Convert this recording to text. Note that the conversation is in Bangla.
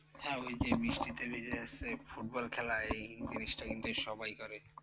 হ্যাঁ ঐ যে বৃষ্টিতে ভিজে যাচ্ছে ফুটবল খেলা এই জিনিসটা কিন্তু সবাই করে।